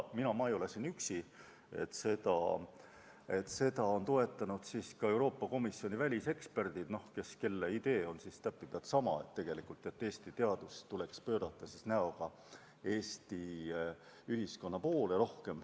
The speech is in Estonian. Ma ei ole selle arvamusega üksi, seda on toetanud ka Euroopa Komisjoni väliseksperdid, kelle idee on täpipealt sama: Eesti teadus tuleks pöörata rohkem näoga Eesti ühiskonna poole.